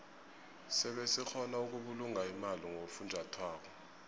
sebe sikgona ukubulunga imali ngofunjathwako